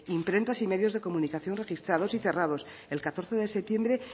imprentas y medios de comunicación registrados y cerrados el catorce de septiembre